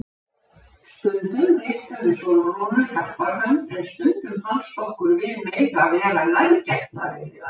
Stundum réttum við Sólrúnu hjálparhönd en stundum fannst okkur við mega vera nærgætnari við hana.